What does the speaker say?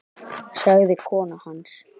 sagði kona hans.